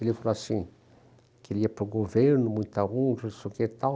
Ele falou assim, que ele ia para o governo, muita, não sei o que e tal.